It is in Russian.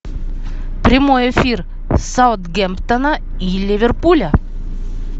прямой эфир саутгемптона и ливерпуля